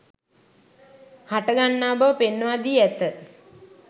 හටගන්නා බව පෙන්වා දී ඇත